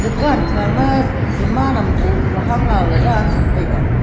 dukan kha ma saman am bow le hang ang ley dan tham taiga.